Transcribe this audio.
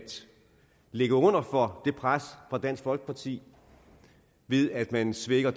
ligge under for det pres fra dansk folkeparti ved at man svækker